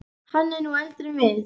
Hann er nú eldri en við.